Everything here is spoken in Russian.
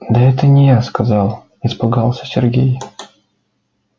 да это не я сказал испугался сергей